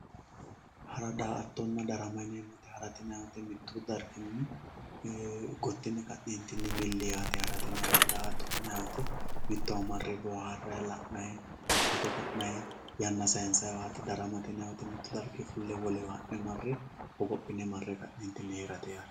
hara daa"attanna darama harate yinayiiti mittu dargini gotti yine ka'neentini milli yaate daa"atto yinayi wote mittowa marre booharayi foto ka'nayi yanna sayiinsaayiiwaati daramate yinayiiti mittu dargi fulle wolewa ha'ne mare hogophine mare ka'ne hidhine heerate yaate.